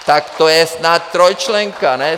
Tak to je snad trojčlenka, ne?